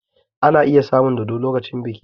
Ana iya samun dodo lokacin biki